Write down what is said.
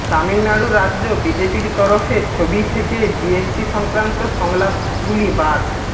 তামিলনাড়ু রাজ্য বিজেপির তরফে ছবি থেকে জিএসটি সংক্রান্ত সংলাপগুলি বাদ